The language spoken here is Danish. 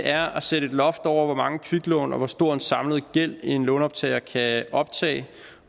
er at sætte et loft over hvor mange kviklån og hvor stor en samlet gæld en lånoptager kan optage